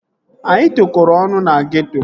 Anyị tokoro ọnụ na geeto